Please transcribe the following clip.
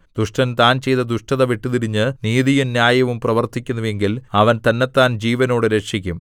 ദുഷ്ടൻ താൻ ചെയ്ത ദുഷ്ടത വിട്ടുതിരിഞ്ഞ് നീതിയും ന്യായവും പ്രവർത്തിക്കുന്നു എങ്കിൽ അവൻ തന്നത്താൻ ജീവനോടെ രക്ഷിക്കും